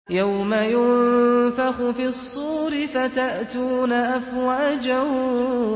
يَوْمَ يُنفَخُ فِي الصُّورِ فَتَأْتُونَ أَفْوَاجًا